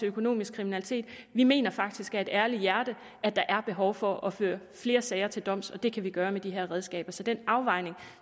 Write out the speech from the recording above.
økonomisk kriminalitet vi mener faktisk af et ærligt hjerte at der er behov for at føre flere sager til doms det kan vi gøre med de her redskaber så den afvejning